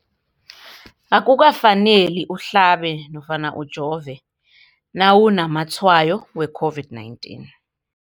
Akuka faneli uhlabe nofana ujove nawu namatshayo we-COVID-19.